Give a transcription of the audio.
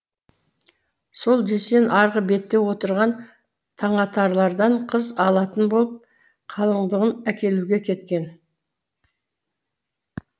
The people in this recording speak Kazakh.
сол дүйсен арғы бетте отырған таңатарлардан қыз алатын болып қалыңдығын әкелуге кеткен